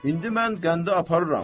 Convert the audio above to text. İndi mən qəndi aparıram.